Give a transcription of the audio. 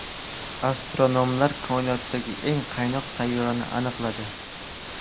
Astronomlar koinotdagi eng qaynoq sayyorani aniqladi.